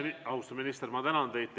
Austatud minister, ma tänan teid!